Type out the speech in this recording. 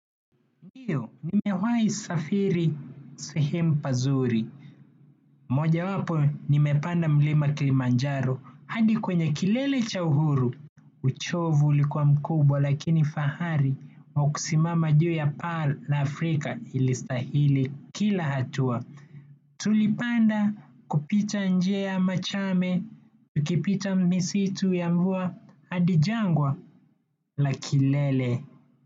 Ndiyo, nimewahi safiri, sehemu pazuri. Mojawapo, nimepanda mlima Kilimanjaro hadi kwenye kilele cha uhuru. Uchovu ulikuwa mkubwa, lakini fahari, wa kusimama juu ya pearl la Afrika ilistahili kila hatua. Tulipanda kupita njia ya machame, tukipita misitu ya mvua, hadi jangwa, la kilele.